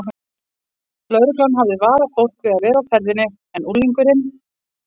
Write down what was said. Lögreglan hafði varað fólk við að vera á ferðinni en unglingurinn